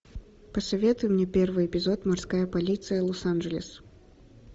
посоветуй мне первый эпизод морская полиция лос анджелес